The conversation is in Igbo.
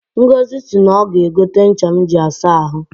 Ngọzị si na ọga egote ncha m ji asa ahụ